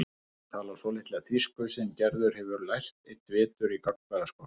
Hún talar svolitla þýsku sem Gerður hefur lært einn vetur í gagnfræðaskóla.